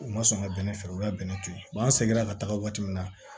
U ma sɔn ka bɛnnɛ feere u y'a bɛnnɛ to yen an seginna ka taga waati min na